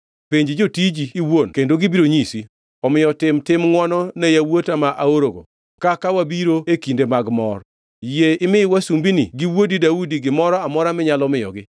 Penj jotiji iwuon kendo gibiro nyisi. Omiyo tim tim ngʼwono ne yawuota ma aorogo kaka wabiro e kinde mag mor. Yie imi wasumbinigi gi wuodi Daudi gimoro amora minyalo miyogi.’ ”